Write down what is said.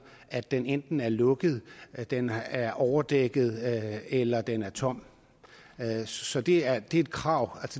at den enten er lukket at den er overdækket eller at den er tom så det er et krav